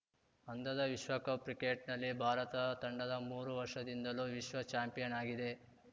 ಅಂಧದ ವಿಶ್ವಕಪ್‌ ಕ್ರಿಕೆಟ್‌ನಲ್ಲಿ ಭಾರತ ತಂಡದ ಮೂರು ವರ್ಷದಿಂದಲೂ ವಿಶ್ವ ಚಾಂಪಿಯನ್‌ ಆಗಿದೆ